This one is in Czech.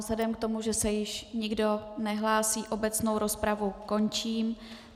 Vzhledem k tomu, že se již nikdo nehlásí, obecnou rozpravu končím.